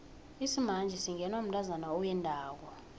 isimanje singenwa mntazana owendako